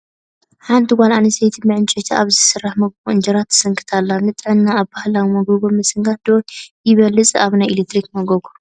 ሓንቲ ጓል ኣነስተይቲ ብዕንጨይቲ ኣብ ዝሰርሕ መጎጎ እንጀራ ትስንክት ኣላ፡፡ ንጥዕና ኣብ ባህላዊ መጎጎ ምስንካት ዶ ይበልፅስ ኣብ ናይ ኤለክትሪክ መጎጎ?